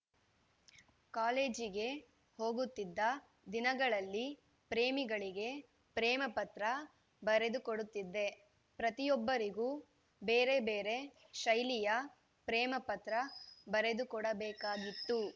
ಕಾಲೇಜಿಗೆ ಹೋಗುತ್ತಿದ್ದ ದಿನಗಳಲ್ಲಿ ಪ್ರೇಮಿಗಳಿಗೆ ಪ್ರೇಮ ಪತ್ರ ಬರೆದುಕೊಡುತ್ತಿದ್ದೆ ಪ್ರತಿಯೊಬ್ಬರಿಗೂ ಬೇರೆ ಬೇರೆ ಶೈಲಿಯ ಪ್ರೇಮಪತ್ರ ಬರೆದುಕೊಡಬೇಕಾಗಿತ್ತು